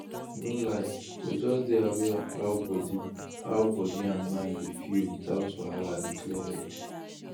no lie to just dey aware of how body how body and mind dey feel without wahala dey clear head